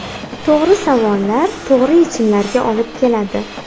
To‘g‘ri savollar to‘g‘ri yechimlarga olib keladi.